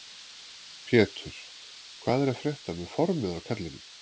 Pétur: Hvað er að frétta með formið á kallinum?